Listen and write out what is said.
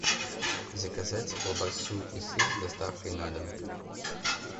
заказать колбасу и сыр с доставкой на дом